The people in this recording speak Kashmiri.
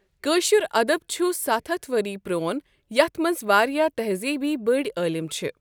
کٲشر ادَب چھ ۷۰۰ ؤری پرون یَتھ مَنٛز واریاہ تہزیٖبی بٔڑ عٲلم چھ۔